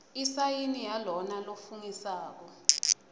isayini yalona lofungisako